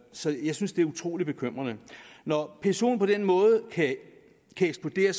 så jeg synes det er utrolig bekymrende når psoen på den måde kan eksplodere